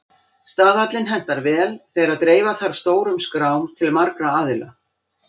Staðallinn hentar vel þegar dreifa þarf stórum skrám til margra aðila.